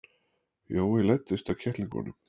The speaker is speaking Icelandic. Jói læddist að kettlingunum.